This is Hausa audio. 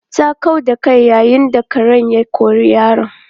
Ta kau da kai yayin da kare ya kori yaron.